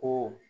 Ko